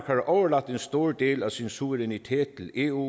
har overladt en stor del af sin suverænitet til eu